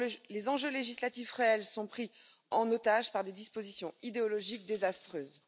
Les enjeux législatifs réels sont pris en otage par des dispositions idéologiques désastreuses.